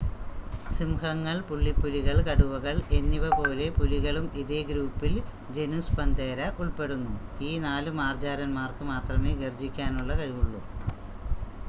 സിംഹങ്ങൾ പുള്ളിപ്പുലികൾ കടുവകൾ എന്നിവപോലെ പുലികളും ഇതേ ഗ്രൂപ്പിൽ ജനുസ് പന്തേര ഉൾപ്പെടുന്നു. ഈ 4 മാർജ്ജാരൻമാർക്ക് മാത്രമേ ഗർജ്ജിക്കാനുള്ള കഴിവുള്ളു